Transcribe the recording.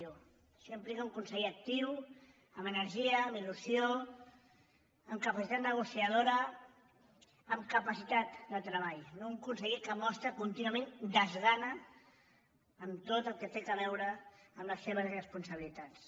això implica un conseller actiu amb energia amb il·lusió amb capacitat negociadora amb capacitat de treball no un conseller que mostra contínuament desgana en tot el que té a veure amb les seves responsabilitats